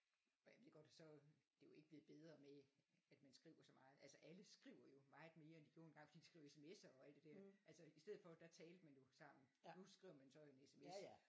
Og jeg ved godt at så det er jo ikke blevet bedre med at man skriver så meget altså alle skriver jo meget mere end de gjorde engang fordi de skriver SMS'er og alt det der altså i stedet for der talte man sammen nu skriver man så en SMS